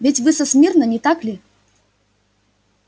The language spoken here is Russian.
ведь вы со смирно не так ли